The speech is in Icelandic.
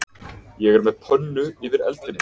Ég er með pönnu yfir eldinum